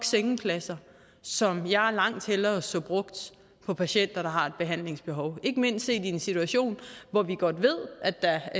sengepladser som jeg langt hellere så brugt på patienter der har et behandlingsbehov ikke mindst i en situation hvor vi godt ved at der